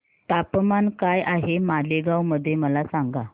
तापमान काय आहे मालेगाव मध्ये मला सांगा